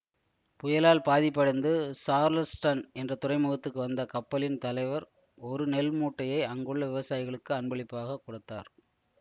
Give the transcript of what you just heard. புயலால் பாதிப்படைந்து சார்லஸ்டன் என்ற துறைமுகத்துக்கு வந்த கப்பலின் தலைவர் ஒரு நெல் மூட்டையை அங்குள்ள விவசாயிகளுக்கு அன்பளிப்பாக கொடுத்தார்